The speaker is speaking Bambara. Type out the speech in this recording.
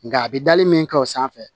Nka a bi dali min kɛ o sanfɛ